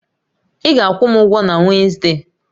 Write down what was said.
Ị ga-akwụ m ụgwọ na Wezde!